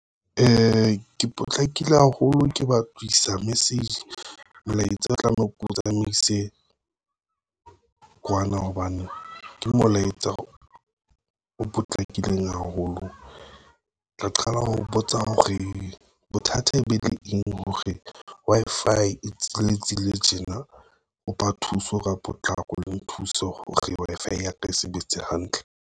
Ke potlakile haholo ke batlisa meseji. Molaetsa o tlameha ke o tsamaise kwana hobane ke molaetsa o potlakileng haholo. tla qala ho botsa ho re bothata e be le eng hore Wi-Fi e tsitsele tjena o ba thuso ka potlako le thuso hore Wi-Fi ya ka e sebetse hantle.